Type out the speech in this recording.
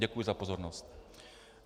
Děkuji za pozornost.